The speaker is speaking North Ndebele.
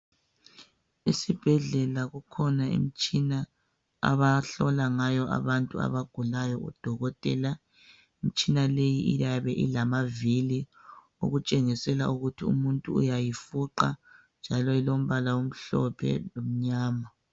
Esibhedlela kukhona imitshina abahlola ngayo abantu abagulayo, udokotela. Umtshina leyi iyabe ilamavili okutshengisela ukhuthi umuntu uyayifuqa, njalo ilombala omhlophe lomnyama.